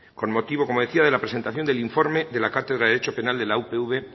con motivo como decía de la presentación del informe de la cátedra de derecho penal de la upv